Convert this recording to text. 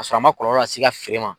Ka sɔrɔ a ma kɔlɔlɔ lase i ka feere ma.